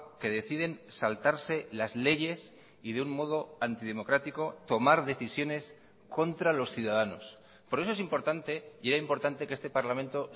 que deciden saltarse las leyes y de un modo antidemocrático tomar decisiones contra los ciudadanos por eso es importante y era importante que este parlamento